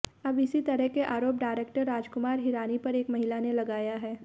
अब इसी तरह के आरोप डायरेक्टर राजकुमार हिरानी पर एक महिला ने लगाया है